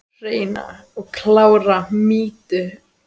Hreina og klára mýtu?